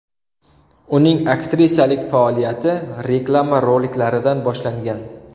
Uning aktrisalik faoliyati reklama roliklaridan boshlangan.